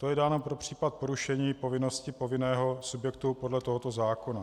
To je dáno pro případ porušení povinnosti povinného subjektu podle tohoto zákona.